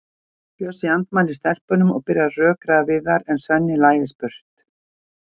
Bjössi andmælir stelpunum og byrjar að rökræða við þær en Svenni læðist burtu.